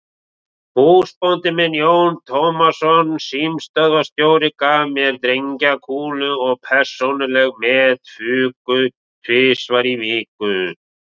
Húsbóndi minn, Jón Tómasson símstöðvarstjóri, gaf mér drengjakúlu og persónuleg met fuku tvisvar í viku.